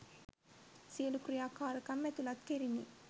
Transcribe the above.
සියලූ ක්‍රියාකාරකම් ඇතුළත් කෙරිනි.